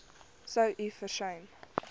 sou u versuim